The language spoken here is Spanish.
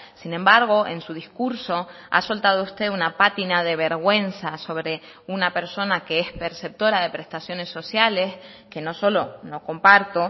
sin embargo en su discurso ha soltado usted una pátina de vergüenza sobre una persona que es perceptora de prestaciones sociales que no solo no comparto